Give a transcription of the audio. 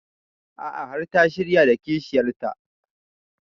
A'a har ta shirya da kishiyar ta